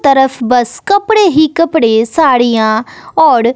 तरफ बस कपड़े ही कपड़े साड़ियाॅं औड़ --